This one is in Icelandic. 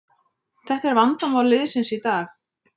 Þetta er vandamál liðsins í dag